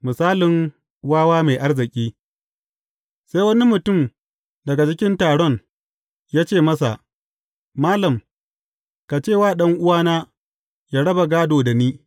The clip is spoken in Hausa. Misalin wawa mai arziki Sai wani mutum daga cikin taron ya ce masa, Malam, ka ce wa ɗan’uwana ya raba gādon da ni.